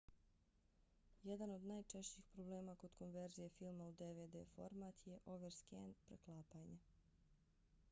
jedan od najčešćih problema kod konverzije filma u dvd format je overscan preklapanje